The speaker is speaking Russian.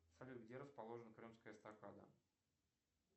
салют где расположена крымская эстакада